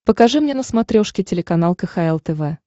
покажи мне на смотрешке телеканал кхл тв